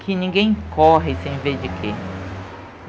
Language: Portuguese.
Que ninguém corre sem ver de quê.